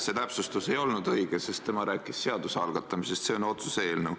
See täpsustus ei olnud õige, sest tema rääkis seaduse algatamisest ja see on otsuse eelnõu.